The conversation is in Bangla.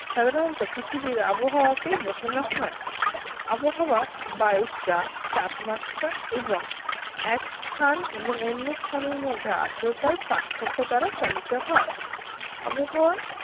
সাধারণত পৃথিবীর আবহাওয়া কেই বোঝানো হয় আবহাওয়া বায়ুর চাপ তাপমাত্রা এবং এক স্থান এবং অন্য স্থানের মধ্যে আদ্রতার পার্থক্য দ্বারা চালিত হয় আবহাওয়া